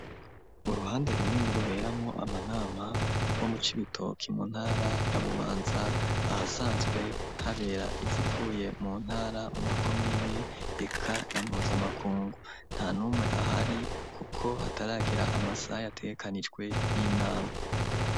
Uruhande runini ruberamwo amanama rwo mu cibitoki mu ntara ya bubanza ahasanzwe habera izipfuye mu ntara mu makomine reka na mpuzamakungu nta numwe ahari kuko hataragira amasaha ategekanijwe y'inama.